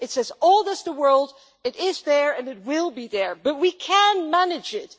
It is as old as the world, it is there and it will be there but we can manage it.